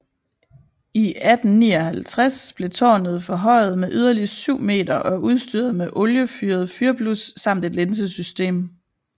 I 1859 blev tårnet forhøjet med yderligere 7 m og udstyret med oliefyret fyrblus samt et linsesystem